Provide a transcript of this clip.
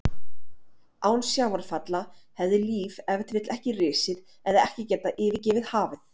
Án sjávarfalla hefði líf ef til vill ekki risið eða ekki getað yfirgefið hafið.